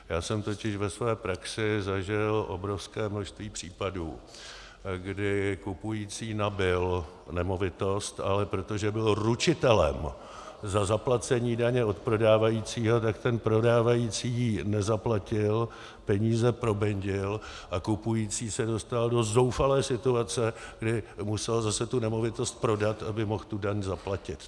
Já jsem totiž ve své praxi zažil obrovské množství případů, kdy kupující nabyl nemovitost, ale protože byl ručitelem za zaplacení daně od prodávajícího, tak ten prodávající ji nezaplatil, peníze probendil a kupující se dostal do zoufalé situace, kdy musel zase tu nemovitost prodat, aby mohl tu daň zaplatit.